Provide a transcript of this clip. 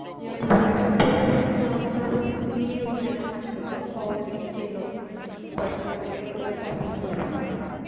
যে ওই বইটা পড়তে পড়তে তোমার মনে হবে তুমি নিজেই ওইখানেই থাকতেছো বা ওদেরকে চেনো personally এরকম একটা fill হবে।